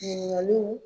Ɲininkaliw